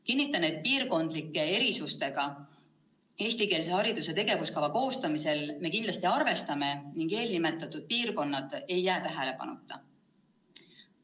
Kinnitan, et piirkondlike erisustega me eestikeelse hariduse tegevuskava koostamisel kindlasti arvestame ning eelnimetatud piirkonnad ei jää tähelepanuta.